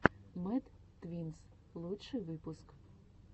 мэд твинз лучший выпуск